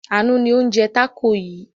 Àánú ni ó ń jẹ tákò yìí.